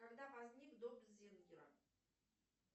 когда возник дом зингера